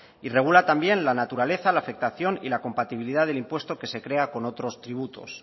y regula también la naturaleza la afectación y la compatibilidad del impuesto que se crea con otros tributos